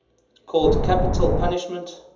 called capital punishment